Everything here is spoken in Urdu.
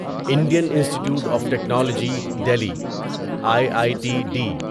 Indian institute of technology Delhi I I T D